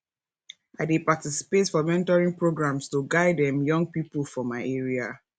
i dey participate for mentoring programs to guide um young people for my area